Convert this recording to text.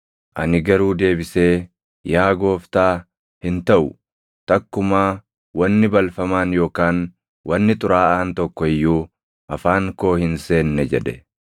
“Ani garuu deebisee, ‘Yaa Gooftaa, hin taʼu! Takkumaa wanni balfamaan yookaan wanni xuraaʼaan tokko iyyuu afaan koo hin seenne’ jedhe.